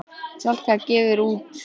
Salka gefur út.